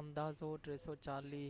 اندازو 340